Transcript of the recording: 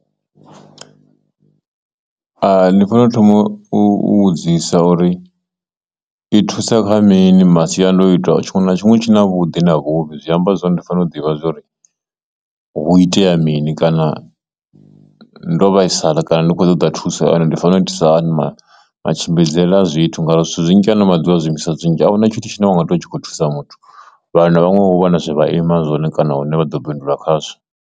Hai, ndi fanela u thoma u vhudzisa uri i thusa kha mini masiandoitwa tshiṅwe na tshiṅwe tshi na vhuḓi na vhuvhi zwi amba zwone ndi fanela u ḓivha zwori hu itea mini kana ndo vhaisala kana ndi khou ṱoḓa thuso kana ndi fanela u itisa hani matshimbidzele a zwithu, ngauri zwithu zwinzhi haano maḓuvha zwiimiswa zwinzhi ahuna tshithu tshine wanga ṱuwa u tshi khou thusa muthu vhano vhaṅwe ho vha na zwi vha aima zwone kana hune vha ḓo bindula khazwo.